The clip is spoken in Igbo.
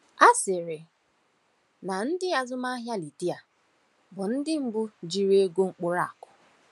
A sịrị na ndị azụmahịa Lidia bụ ndị mbu jiri ego mkpụrụ akụ.